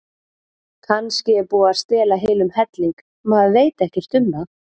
Kannski er búið að stela heilum helling, maður veit ekkert um það.